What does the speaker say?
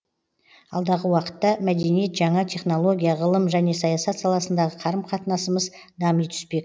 алдағы уақытта мәдениет жаңа технология ғылым және саясат саласындағы қарым қатынасымыз дами түспек